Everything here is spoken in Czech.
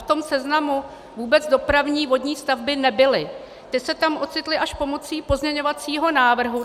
V tom seznamu vůbec dopravní vodní stavby nebyly, ty se tam ocitly až pomocí pozměňovacího návrhu.